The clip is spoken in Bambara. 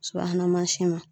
Subahana mansin na